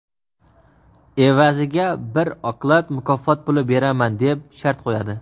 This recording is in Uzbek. evaziga bir oklad mukofot puli beraman deb shart qo‘yadi.